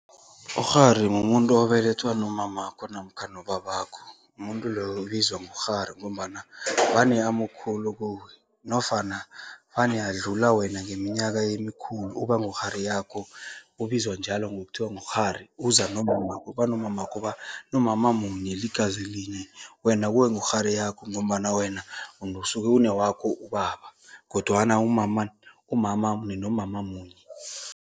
Ukghari mumuntu obelethwa nomamakho namkha nobabakho. Umuntu loyo ubizwa ngokghari ngombana vane amukhulu kuwe nofana vane adlula wena ngeminyaka emikhulu, uba ngukghari yakho, ubizwa njalo ngokuthiwa ngukghari. Uza nomamakho, banomamakho banomama munye, ligazi linye, wena kuwe ngukghari yakho ngombana wena usuke unewakho ubaba kodwana umama umama ninomama munye.